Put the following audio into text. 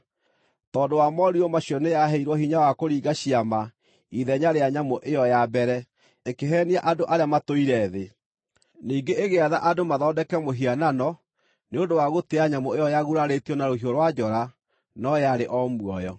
Tondũ wa morirũ macio nĩyaheirwo hinya wa kũringa ciama ithenya rĩa nyamũ ĩyo ya mbere, ĩkĩheenia andũ arĩa matũire thĩ. Ningĩ ĩgĩatha andũ mathondeke mũhianano nĩ ũndũ wa gũtĩĩa nyamũ ĩyo, yagurarĩtio na rũhiũ rwa njora no yarĩ o muoyo.